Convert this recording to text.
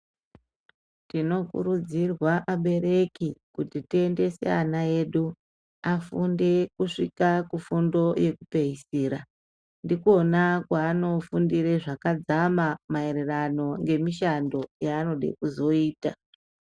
Tinokurudzirwa abereki kuti tiendese ana edu afunde kusvika kufundo yekupeisira ndikwona kwanonofundira zvakadzama maererano ngemishando yaanode kuzoita.